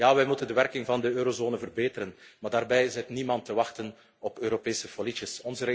zit. Wij moeten de werking van de eurozone verbeteren, maar daarbij zit niemand te wachten op Europese folietjes